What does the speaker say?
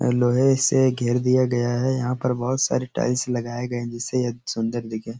लोहे से घेर दिया गया है। यहाँ पर बहोत सारी टाईल्स लगाये गए हैं जिससे यह सुंदर दिखें।